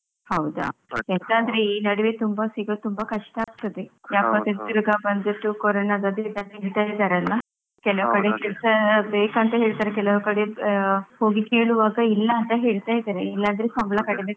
ಹೌದಾ? ಎಂತಂದ್ರೆ ಈ ನಡುವೆ ತುಂಬಾ ಸಿಗೋದು ತುಂಬಾ ಕಷ್ಟ ಆಗ್ತದೆ ಯಾಕಂದ್ರೆ ಕೊರೊನ ಬಂದ್ಬಿಟ್ಟು ಕರೋನ ಅದು ಇದು ಎಲ್ಲ ಅಂತ ಹೇಳ್ತಾರಲ್ಲ ಕೆಲವ್ ಕಡೆ ಕೆಲ್ಸ ಬೇಕಂತ ಹೇಳ್ತಾರೆ, ಕೆಲವ್ ಕಡೆ ಆಹ್ ಹೋಗಿ ಕೇಳುವಾಗ ಇಲ್ಲ ಅಂತ ಹೇಳ್ತಾ ಇದ್ದಾರೆ, ಇಲ್ಲಾಂದ್ರೆ ಸಂಬಳ ಕಡಿಮೆ